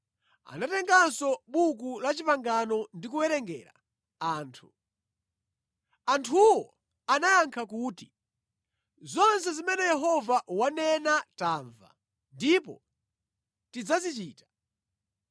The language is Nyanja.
Anatenganso Buku la Chipangano ndi kuwerengera anthu. Anthuwo anayankha kuti, “Zonse zimene Yehova wanena tamva, ndipo tidzazichita.”